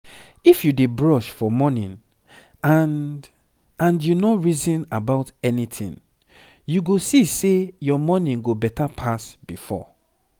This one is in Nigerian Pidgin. if u dey brush for morning and and u nor reason about anything u go see say ur morning go better pass before